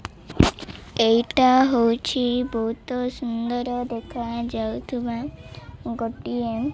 ଏହିଟା ହଉଛି ବହୁତ ସୁନ୍ଦର ଦେଖାଯାଉଥୁବା ଗୋଟିଏ --